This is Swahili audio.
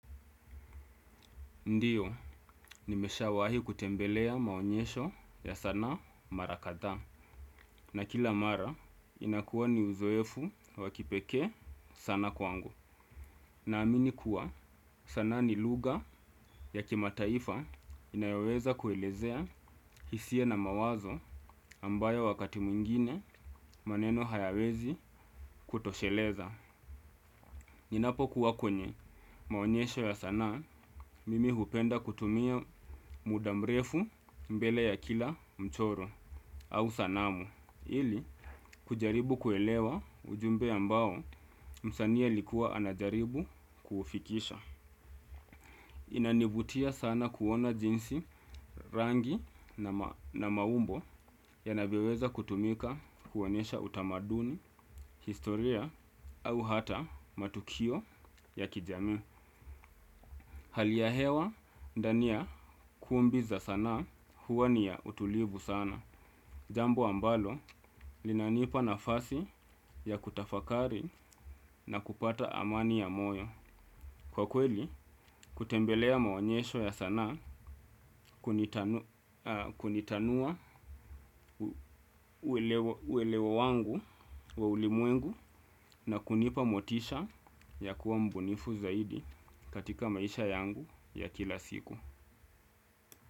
Ndiyo, nimeshawahi kutembelea maonyesho ya sanaa mara kadhaa. Na kila mara, inakuwa ni uzoefu wa kipekee sana kwangu. Naamini kuwa, sanaa ni lugha ya kimataifa inayoweza kuelezea hisia na mawazo ambayo wakati mwingine maneno hayawezi kutosheleza. Ninapokuwa kwenye maonyesho ya sanaa, mimi hupenda kutumia muda mrefu mbele ya kila mchoro au sanamu, ili kujaribu kuelewa ujumbe ambao msanii alikuwa anajaribu kuufikisha. Inanivutia sana kuona jinsi rangi na maumbo yanavyoweza kutumika kuonyesha utamaduni, historia au hata matukio ya kijami. Hali ya hewa, ndani ya kumbi za sanaa huwa ni ya utulivu sana. Jambo ambalo, linanipa nafasi ya kutafakari na kupata amani ya moyo. Kwa kweli, kutembelea maonyesho ya sanaa kunitanua uelewa wangu wa ulimwengu na kunipa motisha ya kuwa mbunifu zaidi katika maisha yangu ya kila siku.